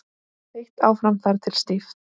Þeytt áfram þar til stíft.